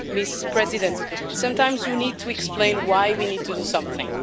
Madam President, sometimes we need to explain why we need to do something.